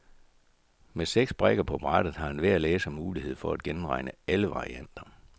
Med seks brikker på brættet har enhver læser mulighed for at gennemregne alle varianter.